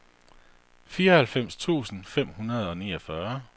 fireoghalvfems tusind fem hundrede og niogfyrre